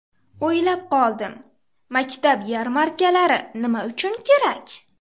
O‘ylab qoldim, maktab yarmarkalari nima uchun kerak?